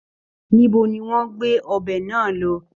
Níbo ni wọ́n gbé ọbẹ náà lọ?